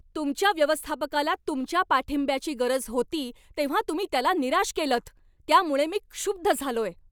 तुमच्या व्यवस्थापकाला तुमच्या पाठिंब्याची गरज होती तेव्हा तुम्ही त्याला निराश केलंत, त्यामुळं मी क्षुब्ध झालोय.